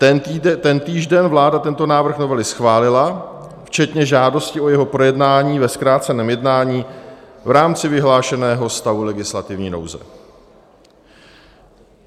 Tentýž den vláda tento návrh novely schválila včetně žádosti o jeho projednání ve zkráceném jednání v rámci vyhlášeného stavu legislativní nouze.